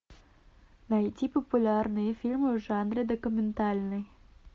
найти популярные фильмы в жанре документальный